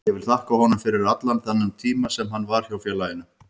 Ég vil þakka honum fyrir allan þennan tíma sem hann var hjá félaginu.